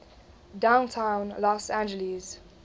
downtown los angeles